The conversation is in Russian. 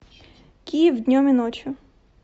киев днем и ночью